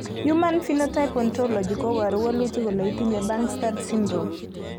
human Phenotype Ontology koporu wolutik kole itinye Bangstad syndrome.